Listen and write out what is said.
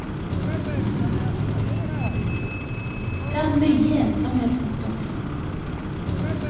Det er mye ensomhet rundt omkring.